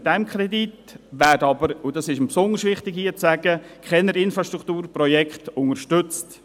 Mit diesem Kredit – und dies ist mir hier besonders wichtig zu sagen – werden keine Infrastrukturprojekte unterstützt.